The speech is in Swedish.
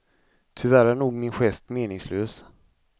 Tyvärr är nog min gest meningslös.